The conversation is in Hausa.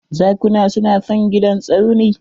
Zakuna su na son gidan Tsauni